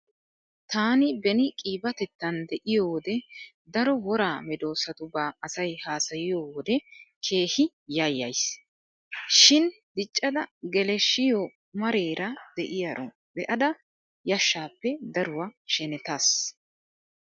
Taani beni qiibatettan de'iyo wode daro woraa meedosatauba asay haasayiyo wode keehi yayyays. Shin diccada geleshshiyo mareera diyaro be'ada yashshappe daruwa shenetaas.